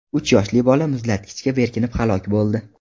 Uch yoshli bola muzlatkichga berkinib halok bo‘ldi.